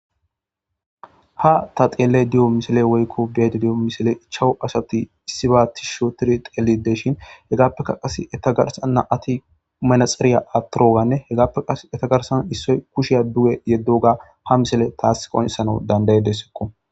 ha ta xeele diyo misile woykko beedo diyo misile ichawu asati issiba tis shotir teelide shin hegaappeka qas eta garsanna ati manaxeriya atoroganne hegappe qas eta garsana issoy kusheya duge yeddoga ha misile taasqonesana dandaye dessekko